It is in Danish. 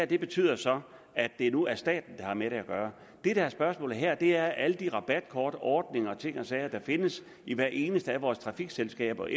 det betyder så at det nu er staten der har med det at gøre det der er spørgsmålet her er om alle de rabatkortordninger og ting og sager der findes i hvert eneste af vores trafikselskaber